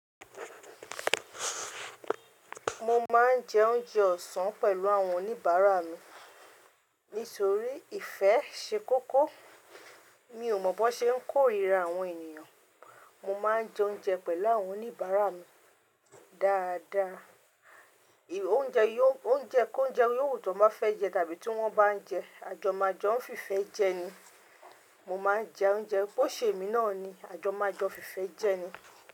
Mo máa ń jẹ oúnjẹ ọ̀sán pẹ̀lú àwọn oníbàárà mi. Nítorí ìfẹ́ ṣe kókó. Mi ò mọ̀ bó ṣe ń kórìíra àwọn ènìyàn. Mo máa ń jẹ oúnjẹ pẹ̀lú àwọn oníbàárà mi dáadáa. Oúnjẹ kó ounje yóò wu tọ́ n bá fẹ́ jẹ tàbí tí wọ́n bá ń jẹ, a jọ máa jo n fi fẹ́ jẹ ni. Mo máa ń jẹ oúnjẹ bó ṣe èmi náà ni, a jọ máa joo ọ́ fi fẹ́ jẹ ni.